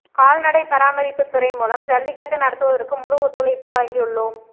கால்நடை பராமரிப்புத் துறை மூலம் ஜல்லிக்கட்டு நடத்துவதற்கு முழு ஒத்துழைப்பு வழங்கியுள்ளோம்